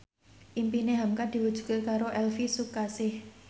impine hamka diwujudke karo Elvi Sukaesih